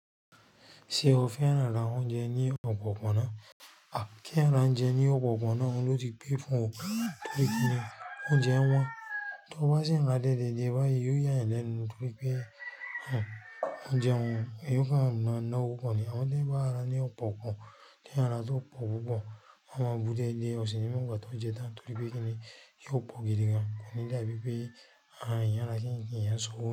Ṣé o fẹ́ran ra oúnjẹ ní ọ̀pọ̀pọ̀ náà? Kí ń ra oúnjẹ ní ọ̀pọ̀kọ̀n náà, òun ló ti pẹ́ fún ọ, torí pé kí ni oúnjẹ wọn, tó bá sì ń ra déédé dé bá yí, yóò yà ẹ́ lẹ́nu torí pé oúnjẹ wọn yóò ka nínú ọ̀nà púpọ̀ ni. Awọn ti o ba ra ni ọ̀pọ̀pọ̀n, ni ara tí ó pọ̀ púpọ̀, wọ́n máa bú déédé, ọ̀sìn ni wọ́n gbà tó ń jẹ tán torí pé kí ni yóò pọ̀ gidi gan, ó ní láìpẹ́ pé ààyè ara kíńkín yẹn so.